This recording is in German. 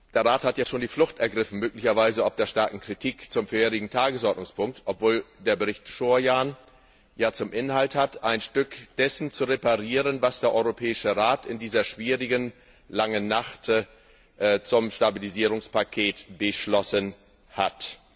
Der Rat hat ja schon die Flucht ergriffen, möglicherweise ob der starken Kritik zum vorherigen Tagesordnungspunkt, obwohl der Bericht Surján ja zum Inhalt hat, ein Stück dessen zu reparieren, was der Europäische Rat in dieser schwierigen, langen Nacht zum Stabilisierungspaket beschlossen hat.